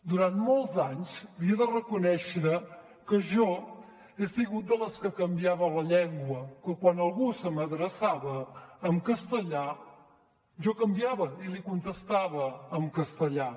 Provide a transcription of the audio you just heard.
durant molts anys li he de reconèixer que jo he sigut de les que canviava la llengua que quan algú se m’adreçava en castellà jo canviava i li contestava en castellà